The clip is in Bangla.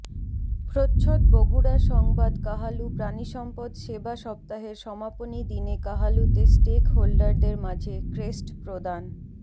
প্রচ্ছদ বগুড়া সংবাদ কাহালু প্রাণীসম্পদ সেবা সপ্তাহের সমাপনী দিনে কাহালুতে স্টেক হোল্ডারদের মাঝে ক্রেস্ট প্রদান